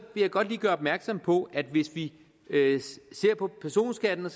godt lige gøre opmærksom på at hvis vi ser på personskatten